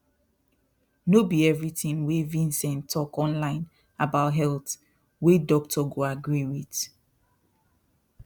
no be everything wey vincent talk online about health wey doctor go agree with